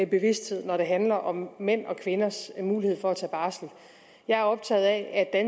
bevidsthed når det handler om mænds og kvinders mulighed for at tage barsel jeg er optaget af at